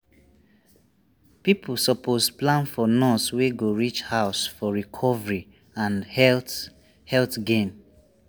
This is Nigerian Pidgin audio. people suppose plan for nurse wey go reach house for recovery and health health gain.